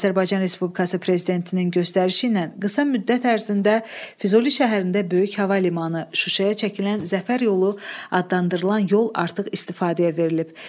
Azərbaycan Respublikası prezidentinin göstərişi ilə qısa müddət ərzində Füzuli şəhərində böyük hava limanı, Şuşaya çəkilən Zəfər yolu adlandırılan yol artıq istifadəyə verilib.